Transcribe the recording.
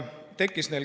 Kaks minutit.